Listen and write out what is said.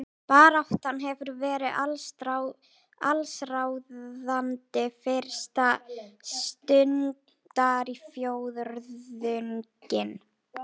Baráttan hefur verið allsráðandi fyrsta stundarfjórðunginn